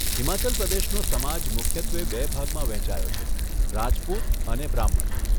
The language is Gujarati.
હિમાચલ પ્રદેશનો સમાજ મુખ્યત્વે બે ભાગમાં વહેંચાયો છે, રાજપૂત અને બ્રાહ્મણ.